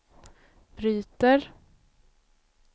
bryter